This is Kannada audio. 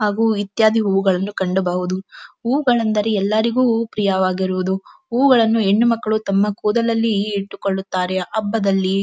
ಹಾಗು ಇತ್ಯಾದಿ ಹೂವುಗಳನ್ನು ಕಂಡಬಹುದು ಹೂವುಗಳೆಂದರೆ ಎಲ್ಲರಿಗು ಪ್ರಿಯವಾಗಿರುವುದು ಹೂವುಗಳನು ಹೆಣ್ಣುಮಕ್ಕಳು ತಮ್ಮ ಕೂದಲಲ್ಲಿ ಇಟ್ಟುಕೊಳ್ಳುತ್ತಾರೆ ಹಬ್ಬದಲ್ಲಿ--